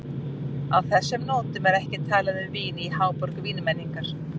Á þessum nótum er ekki talað um vín í háborg vínmenningar.